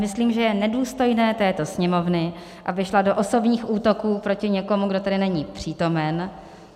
Myslím, že je nedůstojné této Sněmovny, aby šla do osobních útoků proti někomu, kdo tady není přítomen.